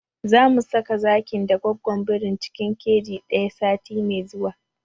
Zamu saka zakin da gwaggon birin cikin keji ɗaya sati mai zuwa